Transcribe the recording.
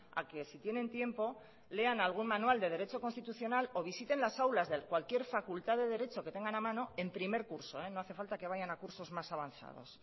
a que si tienen tiempo lean algún manual de derecho constitucional o visiten las aulas de cualquier facultad de derecho que tengan a mano en primer curso eh no hace falta que vayan a cursos más avanzados